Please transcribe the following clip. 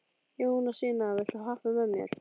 Jónasína, viltu hoppa með mér?